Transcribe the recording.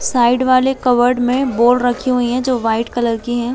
Side वाले court में ball रखी हुई है जो वाइट कलर की है।